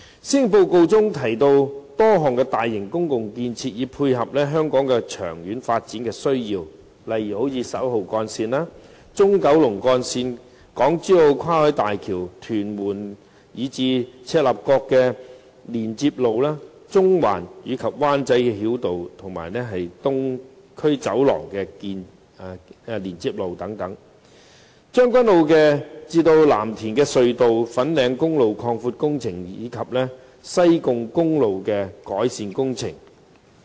施政報告中提到多項大型公共建設，以配合香港的長遠發展需要，例如11號幹線、中九龍幹線、港珠澳跨海大橋、屯門至赤鱲角連接路、中環及灣仔繞道和東區走廊連接路、將軍澳─藍田隧道、粉嶺公路擴闊工程，以及西貢公路的改善工程等。